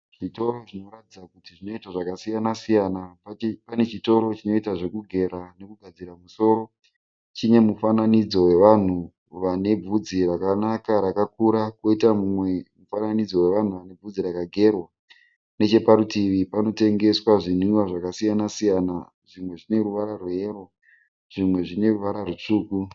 Zvitoro zvinoratidza kuti zvinoita zvakasiyana siyana. Pane chitoro chinoita zvekugera nekugadzira musoro. Chine mufanidzo wevanhu vane vhudzi rakanaka rakakura koita mumwe mufanidzo wevanhu vane vhudzi rakagerwa. Neche parutivi panotengeswa zvinwiwa zvakasiyana siyana zvimwe zvine ruvara rweyero zvimwe zvine ruvara rutsvuku.